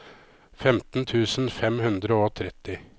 femten tusen fem hundre og tretti